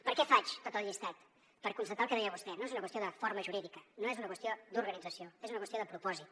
per què faig tot el llistat per constatar el que deia vostè no és una qüestió de forma jurídica no és una qüestió d’organització és una qüestió de propòsit